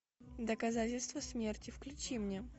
доказательство смерти включи мне